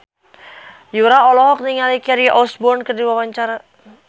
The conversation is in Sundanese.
Yura olohok ningali Kelly Osbourne keur diwawancara